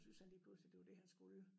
Synes han lige pludselig det var det han skulle